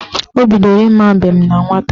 Ọ bidoro ịma mbem na nwata